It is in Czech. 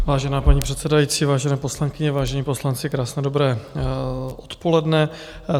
Vážená paní předsedající, vážené poslankyně, vážení poslanci, krásné dobré odpoledne.